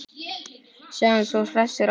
Sjáumst svo hressir á eftir.